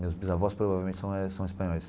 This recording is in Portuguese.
Meus bisavós, provavelmente, são são espanhóis.